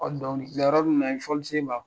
Ɔ donkili bɛ ɲan ni fɔlisen b'a kɔrɔ.